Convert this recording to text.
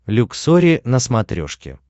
люксори на смотрешке